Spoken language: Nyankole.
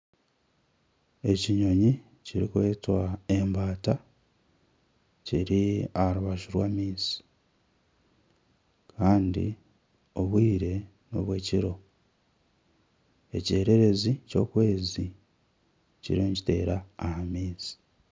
Ekinyonyi ekirikwetwa embata kiri aharubaju rw'amaizi Kandi obwire n'obwekiro ekyererezi kyokwezi kiriyo nikiteera aha maizi .